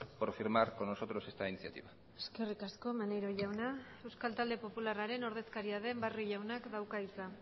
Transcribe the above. por firmar con nosotros esta iniciativa eskerrik asko maneiro jauna euskal talde popularraren ordezkaria den barrio jaunak dauka hitza